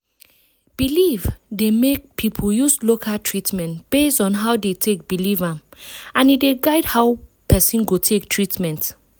belief dey make people use local treatment based on how dey take belief am and e dey guide how person go take treatment.